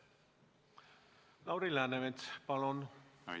Lauri Läänemets, palun!